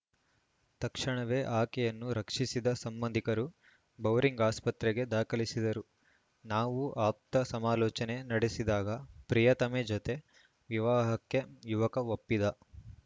ತಕ್ಷಣವೇ ಆಕೆಯನ್ನು ರಕ್ಷಿಸಿದ ಸಂಬಂಧಿಕರು ಬೌರಿಂಗ್‌ ಆಸ್ಪತ್ರೆಗೆ ದಾಖಲಿಸಿದರು ನಾವು ಆಪ್ತ ಸಮಾಲೋಚನೆ ನಡೆಸಿದಾಗ ಪ್ರಿಯತಮೆ ಜತೆ ವಿವಾಹಕ್ಕೆ ಯುವಕ ಒಪ್ಪಿದ್ದ